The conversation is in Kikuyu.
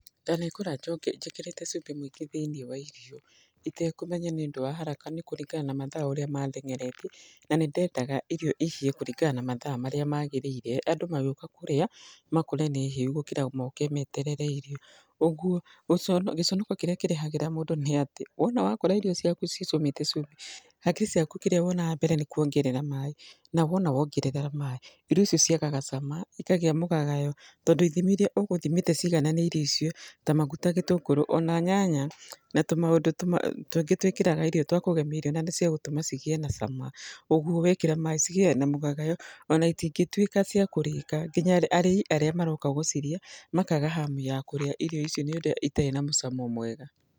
Ndanekora njoke njĩkĩrĩte cumbĩ mũingĩ thĩiniĩ wa irio, itekũmenya nĩ ũndũ wa haraka nĩ kũringana na mathaa ũrĩa mandenyeretie, na nĩ ndendaga irio ihĩe kũringana na mathaa marĩa magarĩire. Andũ magĩũka kũrĩa, makore nĩ hĩu, gũkĩra moke meterere irio. Kũguo, gĩconoko kĩrĩa kĩrehagĩra mũndũ nĩ atĩ, wona wakora irio ciaku cicamĩte cumbĩ, hakiri ciaku kĩrĩa wonaga mbere nĩ kuongerera maĩ. Na wona wongerera maĩ, irio icio ciagaga cama, ikagĩa mũgagayo, tondũ ithimi irĩa ũgũthimĩte cigagananĩirie irio icio, ta maguta, gĩtũngũrũ, ona nyanya na tũmaũndũ tũngĩ twĩkĩraga irio twa kũgemia irio na cia gũtũma cigĩĩ na cama. Kũguo wekĩra maĩ cigĩaga na mũgagayo, ona itingĩtuĩka cia kũrĩka. Nginya arĩi arĩa maroka gũcirĩa, makaga hamu ya kũrĩa irio ici nĩ ũndũ itarĩ na mũcamo mwega.